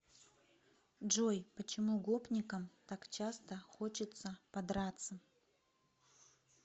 джой почему гопникам так часто хочется подраться